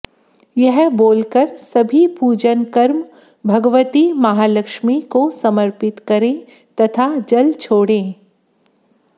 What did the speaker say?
यह बोलकर सभी पूजन कर्म भगवती महालक्ष्मी को समर्पित करें तथा जल छोड़ें